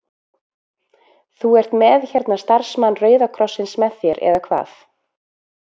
Þú ert með hérna starfsmann Rauða krossins með þér eða hvað?